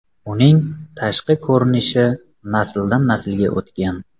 Uning tashqi ko‘rinishi nasldan naslga o‘tgan.